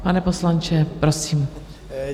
Pane poslanče, prosím.